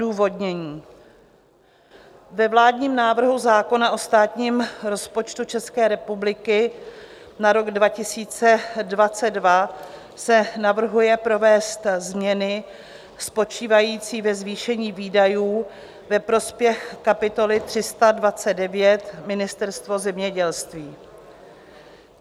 Odůvodnění: ve vládním návrhu zákona o státním rozpočtu České republiky na rok 2022 se navrhuje provést změny spočívající ve zvýšení výdajů ve prospěch kapitoly 329 Ministerstvo zemědělství.